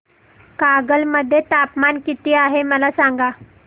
कागल मध्ये तापमान किती आहे मला सांगा